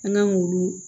An kan k'u